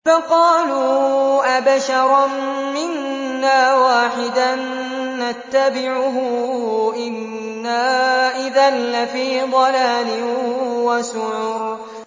فَقَالُوا أَبَشَرًا مِّنَّا وَاحِدًا نَّتَّبِعُهُ إِنَّا إِذًا لَّفِي ضَلَالٍ وَسُعُرٍ